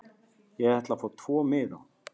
Ég ætla að fá tvo miða.